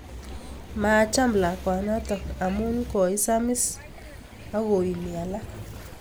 Maacham lakwanatak amun koisamisi akoimi alak.